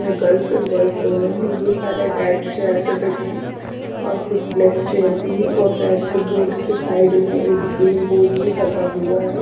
कोई गर्ल्स और बॉयज दोनों है जो सारे रेड चेयर पर बेठे है और कुछ ब्लैक चेयर भी है और रेड के साइड में एक ग्रीन बोर्ड भी लगा हुआ है।